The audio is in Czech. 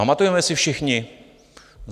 Pamatujeme si všichni?